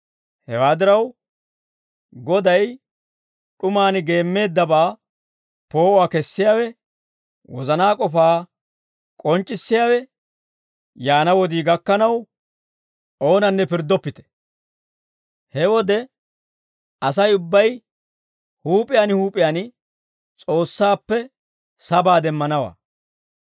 Hewaa diraw, Goday d'umaan geemmeeddabaa poo'uwaa kessiyaawe, wozanaa k'ofaa k'onc'c'issiyaawe yaana wodii gakkanaw O bollaninne oonanne pirddoppite. He wode, Asay ubbay huup'iyaan huup'iyaan S'oossaappe sabaa demmanawaa.